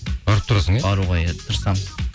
барып тұрасың иә баруға иә тырысамыз